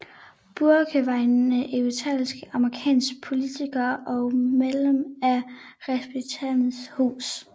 Bourke var en etableret amerikansk politiker og medlem af Repræsentanternes Hus